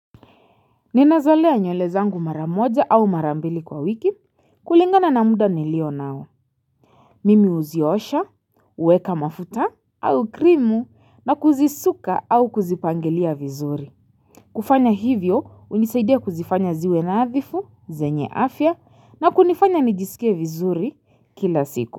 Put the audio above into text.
Ninazolea nywele zangu maramoja au marambili kwa wiki kulingana na muda nilio nao. Mimi huziosha, huweka mafuta au krimu na kuzisuka au kuzipangilia vizuri. Kufanya hivyo unisaidia kuzifanya ziwe nadhifu, zenye afya na kunifanya nijisikie vizuri kila siku.